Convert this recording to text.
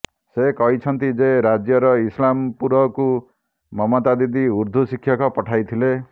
ସେ କହିଛନ୍ତି ଯେ ରାଜ୍ୟର ଇସ୍ଲାମପୁରକୁ ମମତା ଦିଦି ଉର୍ଦ୍ଦୁ ଶିକ୍ଷକ ପଠାଇଥିଲେ